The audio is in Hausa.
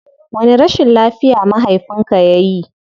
Wani rashin lafiya mahafinka yayi?